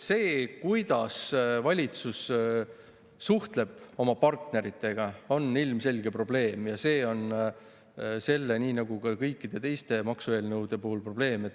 See, kuidas valitsus suhtleb oma partneritega, on ilmselge probleem, ja see on probleem selle, aga ka kõikide teiste maksueelnõude puhul.